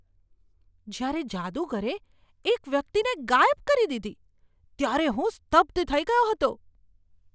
જ્યારે જાદુગરે એક વ્યક્તિને ગાયબ કરી દીધી, ત્યારે હું સ્તબ્ધ થઈ ગયો હતો!